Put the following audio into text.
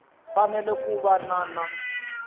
fanele ku va na na